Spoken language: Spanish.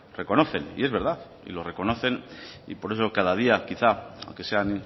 reconocen y es verdad y lo reconocen y por eso cada día quizá aunque sean